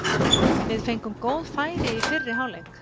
Við fengum góð færi í fyrri hálfleik.